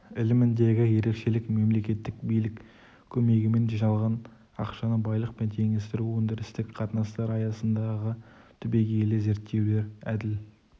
іліміндегі ерекшелік мемлекеттік билік көмегімен жиналған ақшаны байлықпен теңестіру өндірістік қатынастар аясындағы түбегейлі зерттеулер әділ